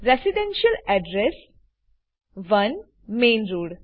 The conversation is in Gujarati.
residential address 1 main road